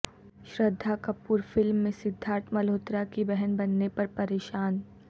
Shraddha Kapoor film میں سدھارت ملہوترا کی بہن بننے پر پریشان